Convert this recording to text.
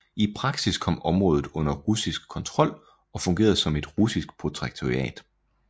I praksis kom området under russisk kontrol og fungerede som et russisk protektorat